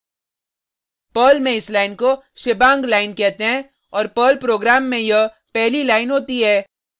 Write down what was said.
Perl में इस line को shebang लाइन कहते हैं और पर्ल प्रोग्राम में यह पहली लाइन होती है